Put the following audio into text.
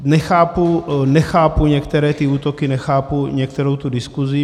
Nechápu, nechápu některé ty útoky, nechápu některou tu diskusi.